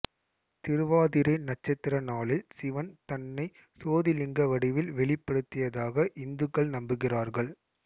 திருவாதிரை நட்சத்திர நாளில் சிவன் தன்னை சோதிலிங்க வடிவில் வெளிப்படுத்தியதாக இந்துக்கள் நம்புகிறார்கள்